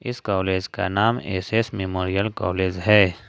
इस कॉलेज का नाम एस_एस मेमोरियल कॉलेज है।